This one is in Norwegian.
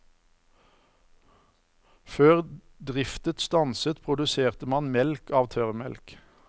Før driftet stanset, produserte man melk av tørrmelk.